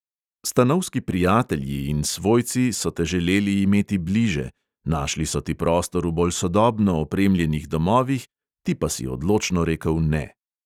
Stanovski prijatelji in svojci so te želeli imeti bliže, našli so ti prostor v bolj sodobno opremljenih domovih, ti pa si odločno rekel ne.